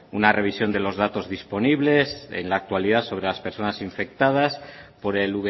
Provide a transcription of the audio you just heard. una revisión de los datos disponibles en la actualidad sobre las personas infectadas por el